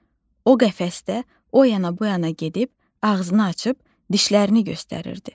O qəfəsdə o yana bu yana gedib ağzını açıb dişlərini göstərirdi.